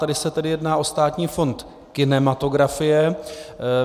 Tady se tedy jedná o Státní fond kinematografie.